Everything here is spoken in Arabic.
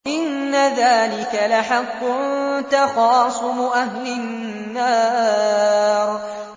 إِنَّ ذَٰلِكَ لَحَقٌّ تَخَاصُمُ أَهْلِ النَّارِ